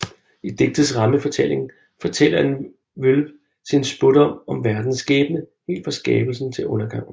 I digtets rammefortælling fortæller en Vølve sin spådom om verdens skæbne helt fra skabelsen til undergangen